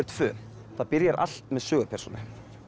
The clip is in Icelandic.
tvö það byrjar allt með sögupersónu